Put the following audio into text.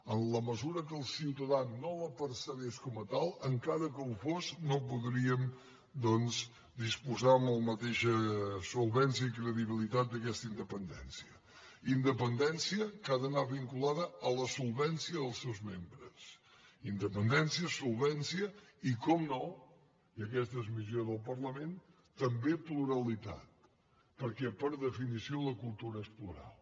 en la mesura que el ciutadà no la percebés com a tal encara que ho fos no podríem doncs disposar de la mateixa solvència i credibilitat d’aquesta independència independència que ha d’anar vinculada a la solvència dels seus membres independència solvència i naturalment i aquesta és missió del parlament també pluralitat perquè per definició la cultura és plural